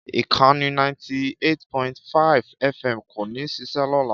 Ìkànnì 98.5 FM kò ní ṣiṣẹ́ lọ́la.